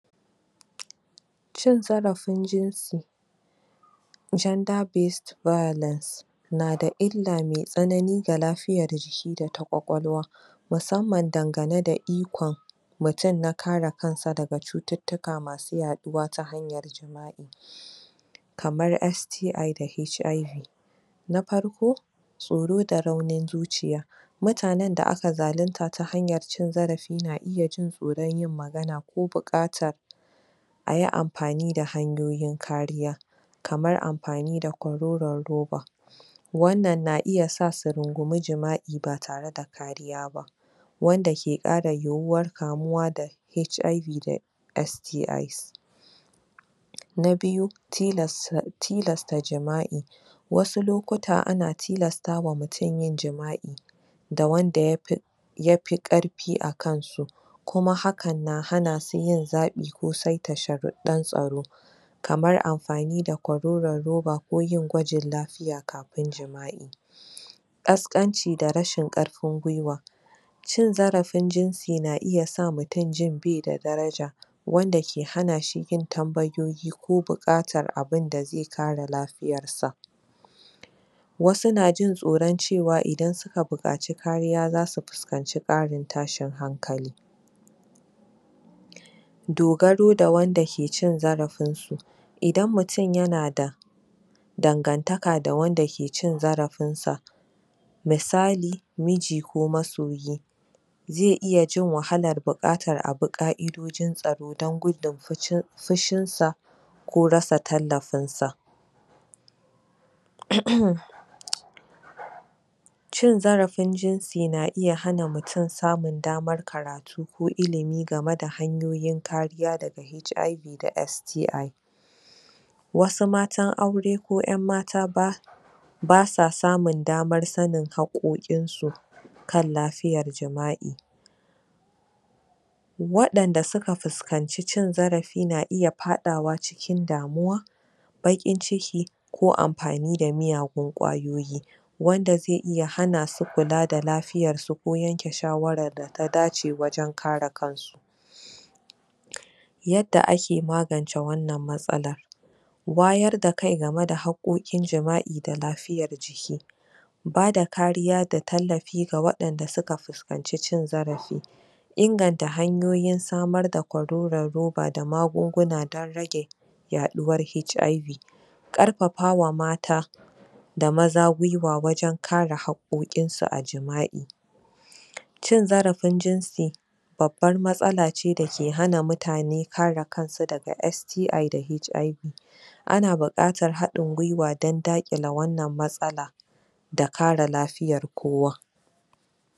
Cin zarafin jinsi gender based violence na da illa me tsanani ga lafiyar jiki da ta ƙwakwalwa musamman dangane da ikon mutun na kare kan sa daga cututtuka masu yaɗuwa ta hanyar kamar STI da HIV na farko, tsoro da raunin zuciya mutanen da aka zalunta ta hanyar cin zarafi na iya jin tsoron yin magana ko buƙatan a yi amfani da hanyoyin kariya kamar amfani da kwaroron roba wannna na iya sa su rungumi jima'i ba tare da kariya ba wanda ke ƙara yiwuwar kamuwa da HIV da STI na biyu, tilasta jima'i wasu lokuta ana tilasta ma mutun yin jima'i da wanda yafi yafi ƙarfi akan su kuma hakan na hana su yin zaɓi ko saita sharuɗɗan tsaro kamar amfani da kwaroron roba ko yin gwajin lafiya kafin jima'i ƙasƙanci da rashin ƙarfin gwuiwa cin zarafin jinsi na iya sa mutun jin bai da daraja wanda ke hana shi yin tambayoyi ko buƙatar abinda zai kare lafiyar sa wasu na jin tsoron cewa idan suka buƙaci kariya zasu fuskanci ƙarin tashin hankali dogaro da wanda ke cin zarafin su idan mutun yana da dangantaka da wanda ke cin zarafin sa misali, miji ko masoyi zai iya jin wahalar bukatar a bi ƙa'idodin tsaro dan gudun fushin sa ko rasa tallafin sa uhm cin zarafin jinsi na iya hana mutun samun damar karatu ko ilimi game da hanyoyin kariya daga HIV da STI wasu matan aure ko ƴan'mata ba basa samun damar sanin haƙoƙin su kan lafiyar jima'i waɗanda suka fuskanci cin zarafi na iya faɗawa cikin damuwa baƙin ciki ko amfani da miyagun ƙwayoyi wanda zai iya hana su kula da lafiyar su ko yanke shawarar da ta dace wajen kare kan su yadda ake magance wannan matsalar wayar da kai game da haƙoƙin jima'i da lafiyar jiki bada kariya da tallafi ga waɗanda suka fuskanci cin zarafi inganta hanyoyin samar da kwaroron roba ko magunguna don rage yaɗuwar HIV ƙarfafa wa mata da maza gwuiwa wajen kare haƙƙoƙn su a jima'i cin zarafin jinsi babbar matsala ce da ke hana mutane kare kan su daga STI da HIV ana buƙatar haɗin gwuiwa dan daƙile wannan matsala da kare lafiyar kowa